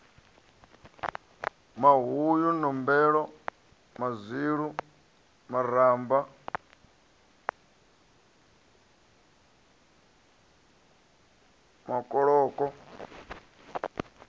mahuyu nombelo mazwilu maramba makoloko